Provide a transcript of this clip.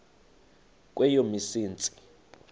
kweyomsintsi